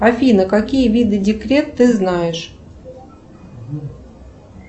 афина какие виды декрет ты знаешь